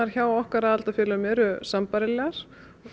hjá okkar aðildarfélögum eru sambærilegar